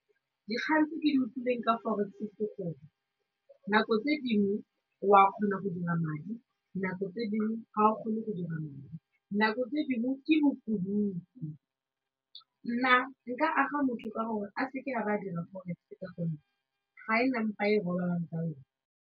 Dikgang tse ke di utlwileng ka forex ke gore nako tse dingwe wa kgona go dira madi nako tse dingwe ga o kgone go dira madi nako tse dingwe ke nna nka aga motho ka gore a seke a ba dira forex ka gonne ga e na .